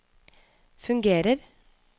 fungerer